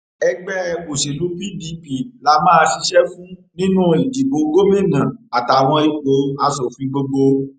ẹgbẹ òsèlú pdp la máa ṣiṣẹ fún nínú ìdìbò gómìnà àtàwọn ipò asòfin gbogbo